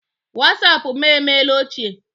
Wasapụ mụ emeela ochie.